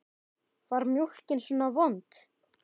Var mjólkin svona vond?